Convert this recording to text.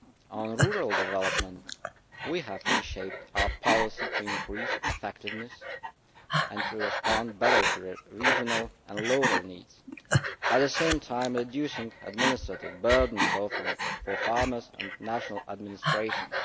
On rural development, we have reshaped our policy to increase effectiveness and to respond better to regional and local needs, at the same time reducing the administrative burden, both for farmers and national administrations.